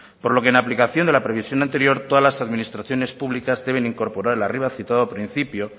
por lo que en aplicación de la previsión anterior todas las administraciones públicas deben de incorporar el arriba citado principio